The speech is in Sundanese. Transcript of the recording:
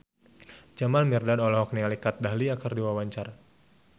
Jamal Mirdad olohok ningali Kat Dahlia keur diwawancara